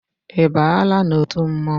I baala n'otu mmọnwụ?